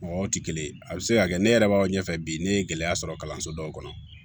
Mɔgɔw tɛ kelen ye a bɛ se ka kɛ ne yɛrɛ b'aw ɲɛfɛ bi ne ye gɛlɛya sɔrɔ kalanso dɔw kɔnɔ